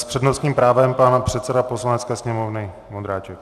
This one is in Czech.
S přednostním právem pan předseda Poslanecké sněmovny Vondráček.